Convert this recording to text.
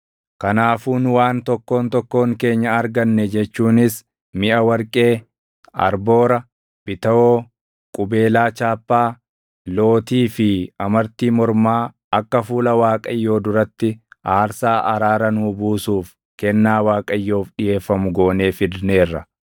Kanaafuu nu waan tokkoon tokkoon keenya arganne jechuunis miʼa warqee, arboora, bitawoo, qubeelaa chaappaa, lootii fi amartii mormaa akka fuula Waaqayyoo duratti aarsaa araara nuu buusuuf kennaa Waaqayyoof dhiʼeeffamu goonee fidneerra.”